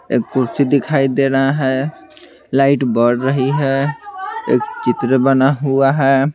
एक कुर्सी दिखाई दे रहा है लाइट बढ़ रही है एक चित्र बना हुआ है।